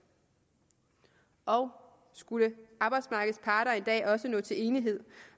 og skulle arbejdsmarkedets parter en dag også nå til enighed